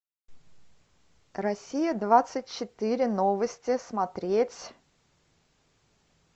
россия двадцать четыре новости смотреть